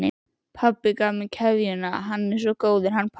Pabbi gaf mér keðjuna, hann er svo góður, hann pabbi.